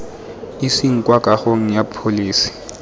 iseng kwa kagong ya pholese